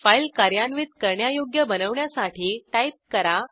file कार्यान्वित करण्यायोग्य बनवण्यासाठी टाईप करा